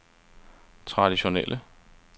traditionelle